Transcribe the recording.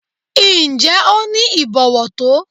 Ǹjẹ́ o ní ìbọ̀wọ̀ tó?